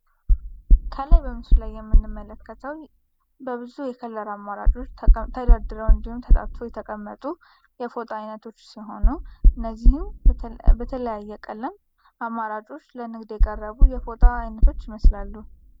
ከላይ በምስሉ ላይ የምንመለከተው በብዙ የከለር አማራጮች ተደርድረው እንድሁም ተጣጥፈው የተቀመጡ የፎጣ አይነቶች ሲሆኑ እነዚህም በተለያየ ቀለም አማራጮች ለንግድ የቀረቡ የፍጣ አይነቶች ይመስላሉ።